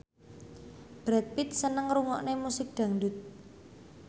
Brad Pitt seneng ngrungokne musik dangdut